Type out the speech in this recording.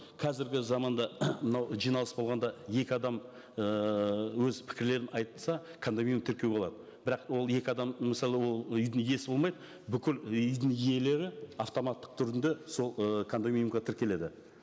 қазіргі заманда мынау жиналыс болғанда екі адам ыыы өз пікірлерін айтса кондоминиум тіркеу болады бірақ ол екі адам мысалы ол үйдің иесі болмай бүкіл үйдің иелері автоматтық түрінде сол ы кондоминиумға тіркеледі